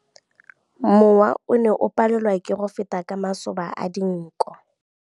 Mowa o ne o palelwa ke go feta ka masoba a dinko.